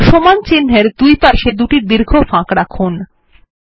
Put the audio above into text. সমান চিন্হের দুইপাশে দুটি দীর্ঘ ফাঁক রাখুন